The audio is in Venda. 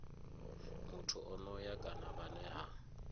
muthu onoyo kana vhane ha